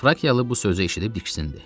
Frakiyalı bu sözü eşidib diksindi.